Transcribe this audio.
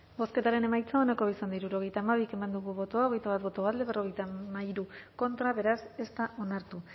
bozketaren emaitza onako izan da hirurogeita hamabi eman dugu bozka hogeita bat boto alde cincuenta y tres contra beraz ez da onartu